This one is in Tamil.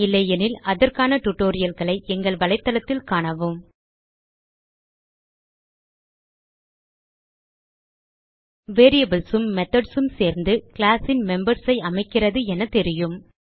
இல்லையெனில் அதற்கான tutorialகளை எங்கள் வலைதளத்தில் காணவும் வேரியபிள்ஸ் உம் மெத்தோட்ஸ் உம் சேர்ந்து கிளாஸ் ன் மெம்பர்ஸ் ஐ அமைக்கிறது என தெரியும்